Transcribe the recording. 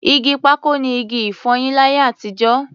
Igi pákò ni igi-ìfọyín láyé àtijọ́.